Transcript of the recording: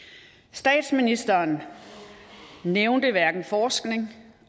statsministeren nævnte hverken forskning